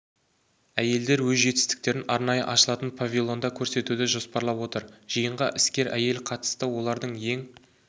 әйелдер өз жетістіктерін арнайы ашылатын павильонда көрсетуді жоспарлап отыр жиынға іскер әйел қатысты олардың ең